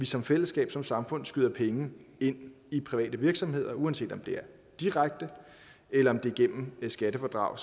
som fællesskab som samfund skyder penge ind i private virksomheder uanset om det er direkte eller om det er gennem skattefradrag